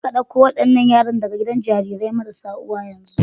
Jeka dauko wadannan yaran daga gidan jarirai marasa uwa yanzu